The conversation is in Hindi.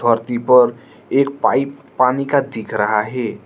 प्रतिबोल एक पाइप पानी का दिख रहा है।